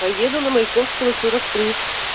поеду на маяковского сорок три